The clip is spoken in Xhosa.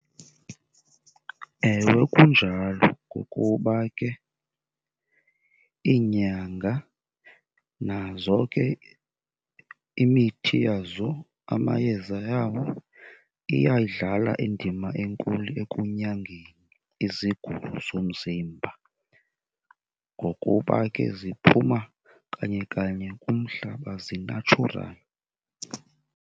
Ewe, kunjalo ngokuba ke iinyanga nazo ke imithi yazo, amayeza yawo, iyayidlala indima enkulu ekunyangeni izigulo zomzimba. Ngokuba ke ziphuma kanye kanye kumhlaba, zinatshurali.